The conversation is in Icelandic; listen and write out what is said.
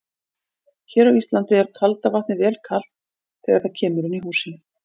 Hér á Íslandi er kalda vatnið vel kalt þegar það kemur inn í húsin.